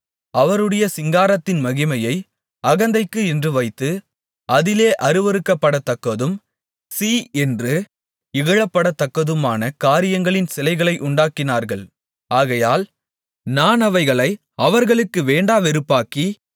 அவருடைய சிங்காரத்தின் மகிமையை அகந்தைக்கு என்று வைத்து அதிலே அருவருக்கப்படத்தக்கதும் சீ என்று இகழப்படத்தக்கதுமான காரியங்களின் சிலைகளை உண்டாக்கினார்கள் ஆகையால் நான் அவைகளை அவர்களுக்கு வேண்டாவெறுப்பாக்கி